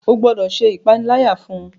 O gbọdọ ṣe ìpaniláyà fún!